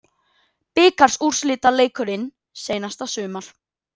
Bikarúrslitaleikurinn seinasta sumar